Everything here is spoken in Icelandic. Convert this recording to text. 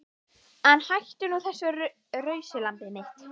En hættu nú þessu rausi lambið mitt.